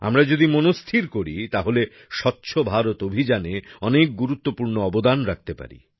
আমরা যদি মনস্থির করি তাহলে স্বচ্ছ ভারত অভিযানে অনেক গুরুত্বপূর্ণ অবদান রাখতে পারি